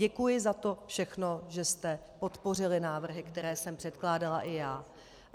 Děkuji za to všechno, že jste podpořili návrhy, které jsem předkládala i já.